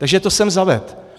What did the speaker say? Takže to jsem zavedl.